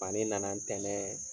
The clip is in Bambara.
ale nana ntɛnɛn